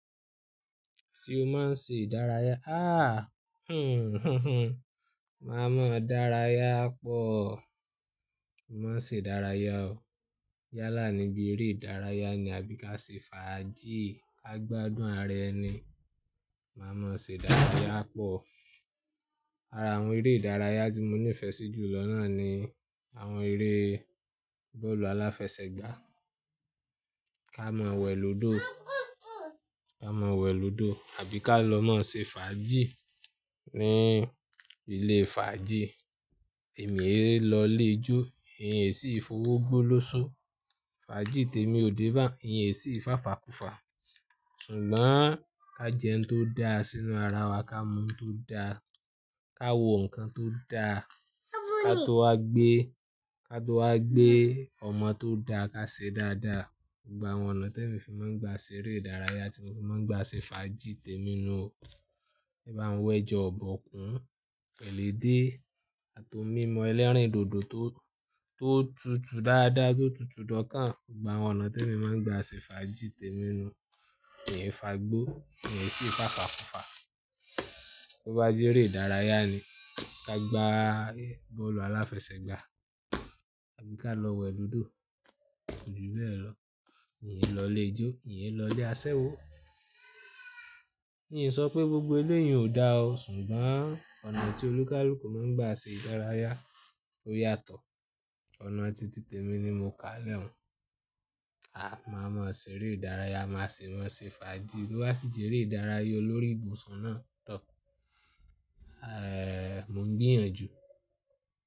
Ṣé o máa ń ṣe ìdárayá? Aah máa mọ dárayá pọ̀. Má ṣe ìdárayá o. Yálà níbí eré ìdárayá ni àbí ká ṣe fàájì, ká gbádùn ara ẹni. Má mọ ṣe ìdárayá pọ̀. Ara àwọn eré ìdárayá tí mo nífẹ̀ẹ́ sí jù lọ náà ni àwọn eré bọ́ọ̀lù aláfẹsẹ̀gbá. Ká mọ wẹ̀ lódò, ká mọ wẹ̀ lódò àbí ká lọ má ṣe fàájì ní ilé fàájì. Èmi ẹ̀ lọ ilè ijó, ìyẹn sì í fowó gbolóṣo. Fàájì tèmi ò dé bá, ìyẹn sì í fàfa kùfa. Ṣùgbọ́n ká jẹun tó dá sínú ara wa, ká mú tó dá, ká wo nǹkan tó dá, ká tó wá gbé, ká tó wá gbé ọmọ tó dá, ká ṣe dáadáa. Ṣùgbọ́n àwọn ọ̀nà tí èmi fi máa ń gba ṣe eré ìdárayá tí mo fi máa ń gba ṣe fàájì tèmi nu o. Ẹ bá ń wa ẹja ọ̀bọkún, pẹ̀lu edé àti oun mímu ẹlẹ́rìndòdò tó, tó tutù dáadáa, tó tutù dọ́kàn. Ṣùgbọ́n àwọn ọ̀nà tí èmi máa ń gba ṣe fàájì tèmi ni o. Ìyẹn fàgbó, ìyẹn sì í fàfa kùfa. Bo bá jẹ́ eré ìdárayá ni, ká gba bọ́ọ̀lù aláfẹsẹ̀gbá, àbí ká lọ wẹ̀ lódò, kòjú bẹ́ẹ̀ lọ. Ìn lọ lè ijó, ìn lọ lè aṣẹ́wó. Kí n sọ pé gbogbo eleyìí ò dáa o. Ṣùgbọ́n ọ̀nà tí olúkálùkù máa ń gba ṣe ìdárayá ó yàtọ̀. Ọ̀nà ti tìtè mi ni mo kà á lẹ́hun. A máa mọ ṣe eré ìdárayá, má ṣe mọ́n ṣe fàájì. Bo bá sì jẹ eré ìdárayá olórí ìbùsùn náà tọ̀. Mo ń gbìyànjú.